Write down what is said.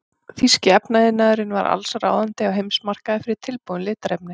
Þýski efnaiðnaðurinn var allsráðandi á heimsmarkaði fyrir tilbúin litarefni.